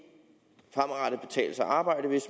arbejde